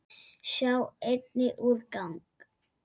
Sjá einnig: úrgang